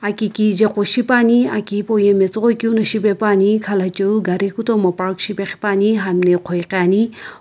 aki kijae gu shipaepane aki hipou yae matsoghoi keu na shipae pane khalochoi garu park shipaepa ne hamna ighoighi ane.